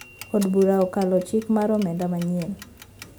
Od bura okalo chik mar omenda manyien